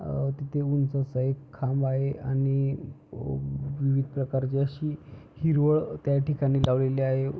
अ तिथे उंच असा एक खांब आहे आणि अ विविध प्रकारची अशी हिरवळ त्या ठिकाणी लावलेली आहे.